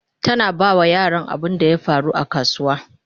tana ba wa yaran labarin abunda ya faru a kasuwa